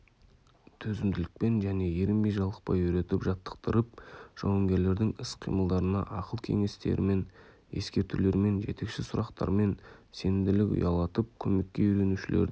төзімділікпен және ерінбей-жалықпай үйретіп жаттықтырып жауынгерлердің іс қимылдарына ақыл-кеңестермен ескертулермен жетекші сұрақтармен сенімділік ұялатып көмекке үйренушілердің